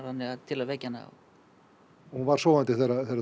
til að vekja hana hún var sofandi